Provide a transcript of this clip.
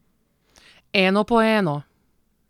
Eno po eno.